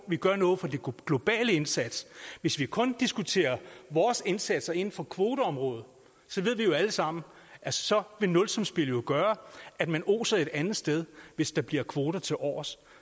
vi gør noget for den globale indsats hvis vi kun diskuterer vores indsatser inden for kvoteområdet så ved vi jo alle sammen at så vil nulsumsspillet jo gøre at man oser et andet sted hvis der bliver kvoter tilovers